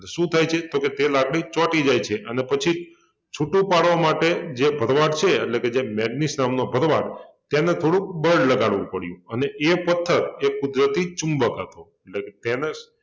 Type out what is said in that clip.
શું થાય છે? તો કે તે લાકડી ચોંટી જાય છે અને પછી છૂટુ પાડવા માટે જે ભરવાડ છે એટલે કે જે મેગ્નીસ નામનો ભરવાડ તેને થોડુક બળ લગાડવુ પડ્યું અને એ પથ્થર એ કુદરતી ચુંબક હતો એટલે તેને